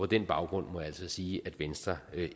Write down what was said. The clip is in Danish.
den baggrund må jeg altså sige at venstre